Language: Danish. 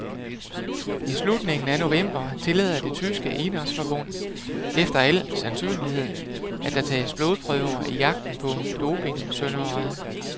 I slutningen af november tillader det tyske idrætsforbund efter al sandsynlighed, at der tages blodprøver i jagten på dopingsyndere.